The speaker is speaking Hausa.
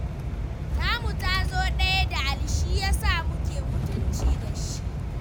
Tamu ta zo ɗaya da Ali shi ya sa muke mutunci da shi.